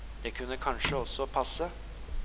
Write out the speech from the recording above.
Det kunne kanskje også passe.